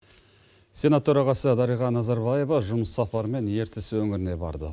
сенат төрағасы дарига назарбаева жұмыс сапарымен ертіс өңіріне барды